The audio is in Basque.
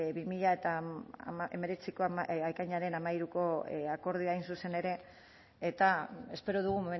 bi mila hemeretziko ekainaren hamairuko akordioa hain zuzen ere eta espero dugu